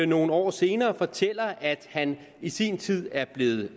nogle år senere fortæller at han i sin tid er blevet